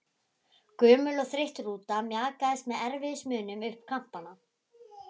Gömul og þreytt rúta mjakaðist með erfiðismunum upp Kambana.